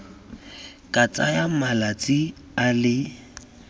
ka tsaya malatsi a le